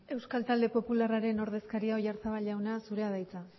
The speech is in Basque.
euskal talde popularraren ordezkaria oyarzabal jauna zurea da hitza